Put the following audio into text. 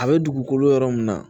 A bɛ dugukolo min na